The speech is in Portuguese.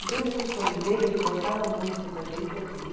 Então, o Milos, quando veio, ele botava música para a gente ouvir.